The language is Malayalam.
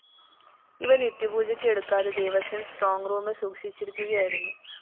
ഇവ നിത്യപൂജക്ക് എടുക്കാതെ ദേവസ്വം സ്ട്രോങ്‌ റൂമില്‍ സൂക്ഷിച്ചിരിക്കുകയായിരുന്നു